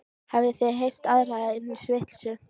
Hafið þið heyrt aðra eins vitleysu?